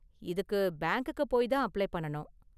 இதுக்கு பேங்க்குக்கு போய் தான் அப்ளை பண்ணனும்.